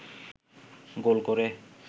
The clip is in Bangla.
গোল করে